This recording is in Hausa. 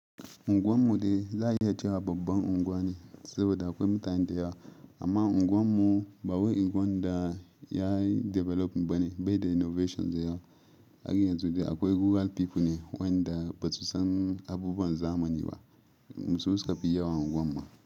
Ungwan mu dai za a iya cewa babban unguwa ne saboda akwai mutane da yawa amma unguwan mu ba wai unguwa da ya developing bane bai da innovation da yawa. Har yanzu dai akwai rural people ne wa'inda basu san abubuwan zamanin ba su suka fi yawa a unguwar ma.